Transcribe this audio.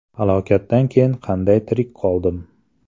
Halokatdan keyin qanday tirik qoldim?